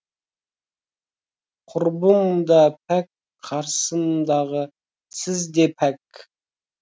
құрбым да пәк қасымдағы сіз де пәк